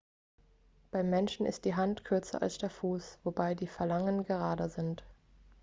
beim menschen ist die hand kürzer als der fuß wobei die phalangen gerader sind